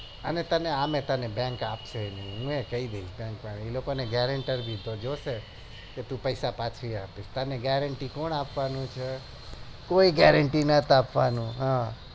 અને તને અમે bank અપસે નહી હું પણ કઈદઈશ કારણ કે એમને guaranter પણ સોધ્યો હશે તું પૈસા પછી આપ તને gerenty કોણ આપવાનું છે કોઈ gerenty નથ આપવાનું હમ